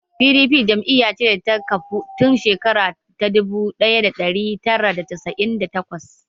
Pdp jam'iya ce da ta kafu tun shekara ta dubu ɗaya da ɗari tara da casa'in da takwas